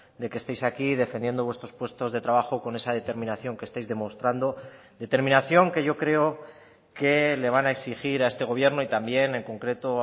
de que estéis aquí defendiendo vuestros puestos de trabajo con esa determinación que estáis demostrando determinación que yo creo que le van a exigir a este gobierno y también en concreto